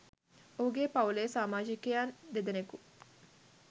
ඔහුගේ පවුලේ සාමාජිකයන් දෙදෙනෙකු